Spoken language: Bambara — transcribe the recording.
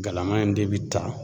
Galama in de bi ta